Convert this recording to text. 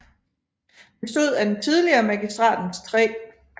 Bestod af den tidligere Magistratens 3